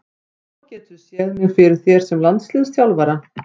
Svo geturðu séð mig fyrir þér sem landsliðsþjálfara?